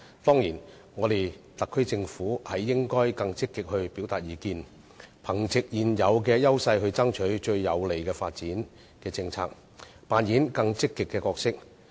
當然，特區政府應該更積極表達意見，憑藉現有優勢爭取最有利的發展政策，扮演更積極的角色。